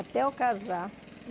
Até eu casar.